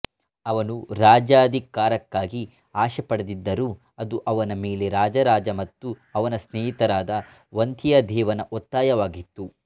ಅವನು ರಾಜ್ಯಾಧಿಕಾರಕ್ಕಾಗಿ ಆಶೆಪಡದಿದ್ದರೂ ಅದು ಅವನ ಮೇಲೆ ರಾಜರಾಜ ಮತ್ತು ಅವನ ಸ್ನೇಹಿತನಾದ ವಂತಿಯದೇವನ ಒತ್ತಾಯವಾಗಿತ್ತು